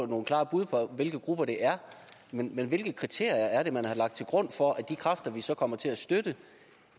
nogle klare bud på hvilke grupper det er men hvilke kriterier er det man har lagt til grund for at de kræfter vi så kommer til at støtte